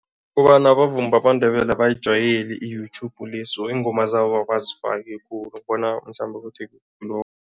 Kobana abavumi bamaNdebele abayijwayeli i-YouTube le so iingoma zabo abazifaki khulu bona mhlambe ukuthi